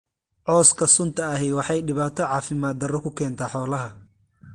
Cawska sunta ahi waxay dhibaato caafimaad darro ku keentaa xoolaha.